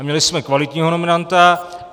A měli jsme kvalitního nominanta.